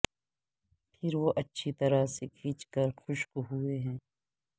پھر وہ اچھی طرح سے کھینچ کر خشک ہوئے ہیں